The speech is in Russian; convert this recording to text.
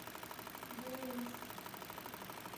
буинск